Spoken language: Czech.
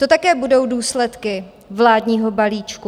To také budou důsledky vládního balíčku.